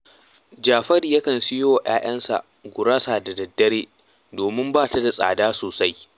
Jafaru yakan siyo wa ‘ya’yansa gurasa da daddare, domin ba ta da tsada sosai